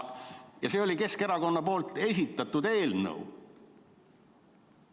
See oli Keskerakonna esitatud eelnõu.